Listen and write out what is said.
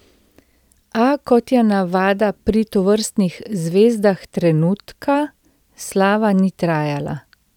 A, kot je navada pri tovrstnih zvezdah trenutka, slava ni trajala.